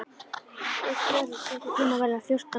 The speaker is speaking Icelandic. Sörli, stilltu tímamælinn á fjórtán mínútur.